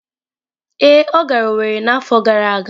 Ee, ọ gara Owerri n’afọ gara aga